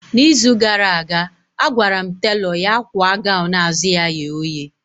Na izu gara aga, agwara m telọ ya kwa gọwn azụ ya ye oye